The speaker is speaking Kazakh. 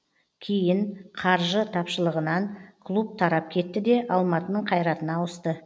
кейін қаржы тапшылығынан клуб тарап кетті де алматының қайратына ауысты